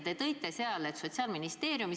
Te ütlesite seal, et Sotsiaalministeerium ...